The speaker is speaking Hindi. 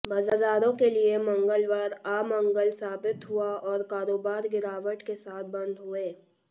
बाजारों के लिए मंगलवार अमंगल साबित हुआ और कारोबार गिरावट के साथ बंद हुए